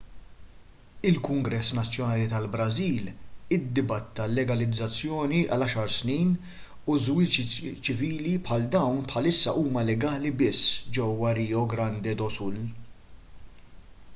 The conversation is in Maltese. il-kungress nazzjonali tal-brażil iddibatta l-legalizzazzjoni għal 10 snin u żwiġijiet ċivili bħal dawn bħalissa huma legali biss ġewwa rio grande do sul